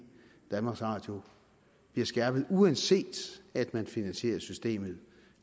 danmarks radio bliver skærpet uanset at man finansierer systemet